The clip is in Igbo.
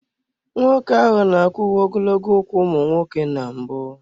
Nwoke ahụ n'akwa uwe ogologo ụkwụ ụmụ nwoke na mbụ.